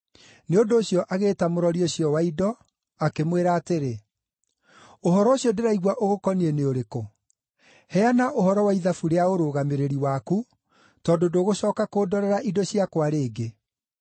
Nĩ ũndũ ũcio agĩĩta mũrori ũcio wa indo, akĩmwĩra atĩrĩ, ‘Ũhoro ũcio ndĩraigua ũgũkoniĩ nĩ ũrĩkũ? Heana ũhoro wa ithabu rĩa ũrũgamĩrĩri waku, tondũ ndũgũcooka kũndorera indo ciakwa rĩngĩ.’